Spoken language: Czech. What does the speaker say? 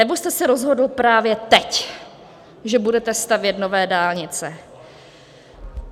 Nebo jste se rozhodl právě teď, že budete stavět nové dálnice?